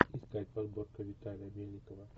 искать подборка виталия мельникова